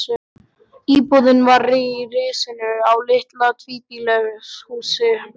Íbúðin var í risinu á litlu tvíbýlishúsi við